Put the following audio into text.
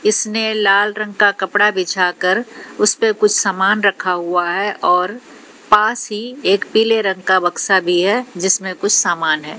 इसने लाल रंग का कपड़ा बिछाकर उसपे कुछ सामान रखा हुआ है और पास ही एक पीले रंग का बक्सा भी है जिसमें कुछ सामान है।